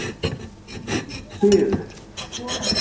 Nýr siður!